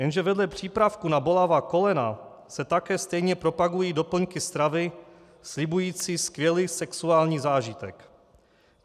Jenže vedle přípravků na bolavá kolena se také stejně propagují doplňky stravy slibující skvělý sexuální zážitek.